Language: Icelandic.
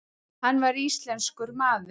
Hann var íslenskur maður.